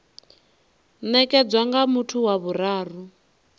nekedzwa nga muthu wa vhuraru